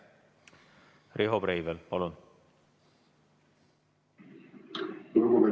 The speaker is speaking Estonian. Riho Breivel, palun!